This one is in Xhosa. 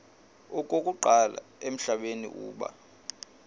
okokuqala emhlabeni uba